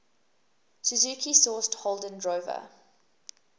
suzuki sourced holden drover